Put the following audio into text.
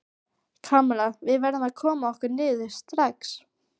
Kamilla, við verðum að koma okkur niður strax.